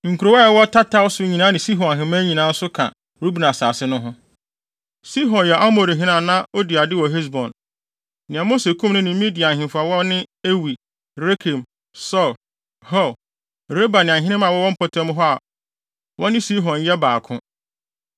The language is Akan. Nkurow a ɛwɔ tataw so nyinaa ne Sihon ahemman nyinaa nso ka Ruben asase no ho. Sihon yɛ Amorihene a na odi ade wɔ Hesbon, nea Mose kum no ne Midian ahemfo a wɔne Ewi, Rekem, Sur, Hur, Reba ne ahenemma a wɔwɔ mpɔtam hɔ a wɔne Sihon yɛ baako.